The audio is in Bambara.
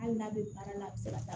Hali n'a bɛ baara la a bɛ se ka taa